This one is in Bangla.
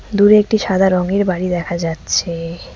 দূরে একটি সাদা রঙের বাড়ি দেখা যাচ্ছে।